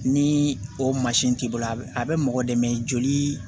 Ni o mansin t'i bolo a bɛ mɔgɔ dɛmɛ joli